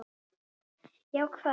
Já, hvað?